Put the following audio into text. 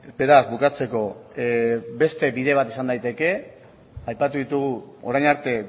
beraz bukatzeko beste bide bat izan daiteke aipatu ditugu orain arte